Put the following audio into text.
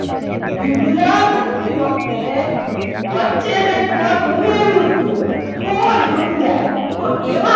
વિગ્રહ કરતી વખતે વચ્ચે કંઈ પદ ઉમેરવું જ જોઈએ તો જ સમજાય તો એવા